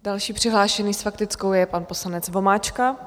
Další přihlášený s faktickou je pan poslanec Vomáčka.